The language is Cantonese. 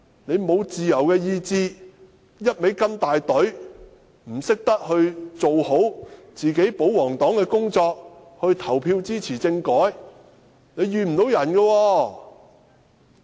你們沒有自由的意志，只會跟從大隊，不懂得做好保皇黨的工作，投票支持政改，不能埋怨別人。